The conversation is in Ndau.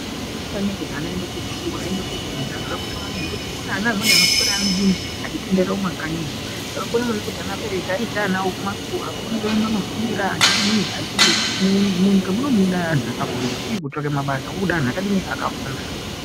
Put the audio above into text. Zvakakosha maningi kuti ana aende kuzvikora aende kundofunda zvakakosha maningi ngekuti kune ana amweni anoswera achitenderera mumakanyi zvakakosha maningi kuti aberwki aendese ana awo kuzvikora akone kuenda kundofundira munyika muno mune antu akafundira uye kutsvake mabasa kunoda antu akaadini akafunda.